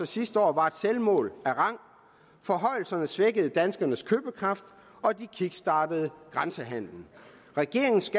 sidste år var et selvmål af rang forhøjelserne svækkede danskernes købekraft og de kickstartede grænsehandelen regeringens